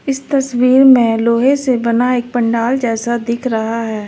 इस तस्वीर में लोहे से बना एक पंडाल जैसा दिख रहा है।